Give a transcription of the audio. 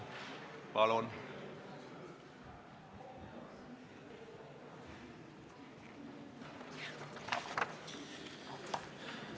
Palun!